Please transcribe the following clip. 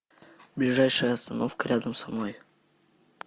ближайшая остановка рядом со мной